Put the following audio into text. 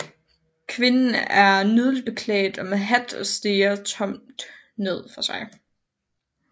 Kvinden er nydeligt klædt og med hat og stirrer tomt ned for sig